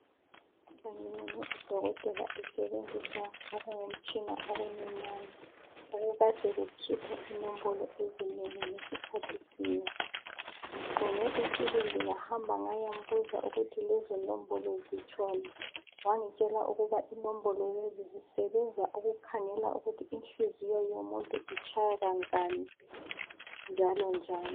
Ngibone udokotela besebenzisa okungumtshina okuncinyane okukade kukhipha inombolo ezinengi ngesikhathi sinye. Ngiqonge isibindi ngahamba ngayambuza ukuthi lezonombolo zitshoni wangitshela ukuba inombolo lezo zisebenza ukukhangela ukuthi inhliziyo yomuntu itshaya kangaki njalo njani.